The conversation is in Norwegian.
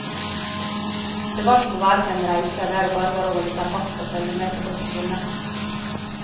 Det var som å være på en reise der det bare var å holde seg fast og følge med så godt en kunne.